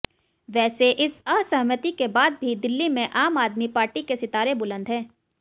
वैसे इस असहमति के बाद भी दिल्ली में आम आदमी पार्टी के सितारे बुलंद हैं